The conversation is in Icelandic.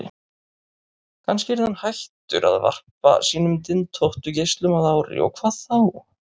Kannski yrði hann hættur að varpa sínum dyntóttu geislum að ári, og hvað þá?